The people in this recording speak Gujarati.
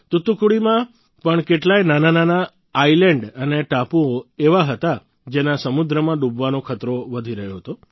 તૂતુકુડીમાં પણ કેટલાય નાનાનાનાં આયલેન્ડ અને ટાપૂ એવા હતા જેના સમુદ્રમાં ડૂબવાનો ખતરો વધી રહ્યો હતો